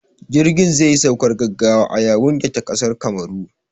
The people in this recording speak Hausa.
Jirgin zai yi saukar gaggawa a Yawunde ta ƙasar Kamaru